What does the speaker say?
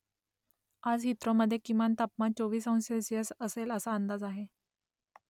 आज हीथ्रोमधे किमान तापमान चोवीस अंश सेल्सिअस असेल असा अंदाज आहे